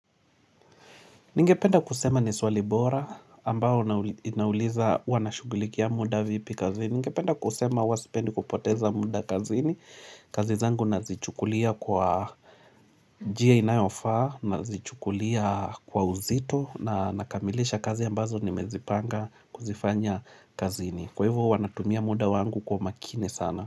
Ningependa kusema ni swali bora ambao inauliza huwa nashugulikia mda vipi kazini. Ningependa kusema huwa sipendi kupoteza mda kazini. Kazi zangu nazichukulia kwa njia inayofaa, nazichukulia kwa uzito na nakamilisha kazi ambazo nimezipanga kuzifanya kazini. Kwa hivyo huwa natumia mda wangu kwa makini sana.